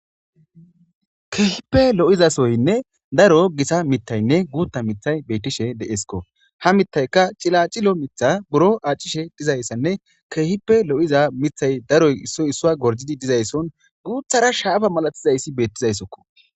keehippe lo7izasoynne daro gisa mitaynne guutta mithay beytishe deesko ha mitayka cila cilo mitha buro aacishe dizayssanne keehipe lo7iza mithay daroy issoy issua gorjidi dizaysson guuthara shaafa malatizayssi beettizayssokko